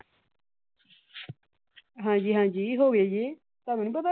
ਹਾਂ ਜੀ ਹਾਂ ਜੀ ਹੋ ਗੇ ਜੀ। ਤੁਹਾਨੂੰ ਨੀ ਪਤਾ।